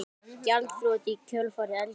Gjaldþrot í kjölfar eldgoss